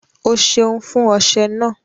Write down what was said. Ọ́ sẹun fún ọṣẹ̀ ná.